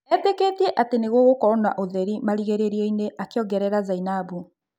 Etĩkĩkĩtie atĩ nĩgũgũkorwo na ũtheri marigĩrĩrioinĩ', akĩongerera Zainabu.